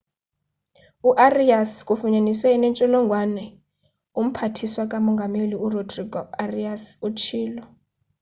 u-arias ufunyaniswe enentsholongwane umphathiswa ka mongameli urodrigo arias utshilo